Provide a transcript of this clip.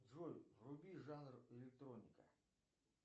джой вруби жанр электроника